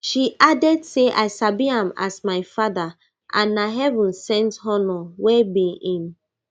she add say i sabi am as my father and na heaven sent honour wey be im